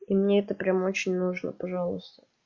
и мне это прямо очень нужно пожалуйста